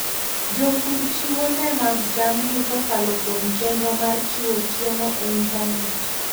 Jopur chiwo le mag jamni kokalo kuom chenro mar chiwo chiemo e intanet.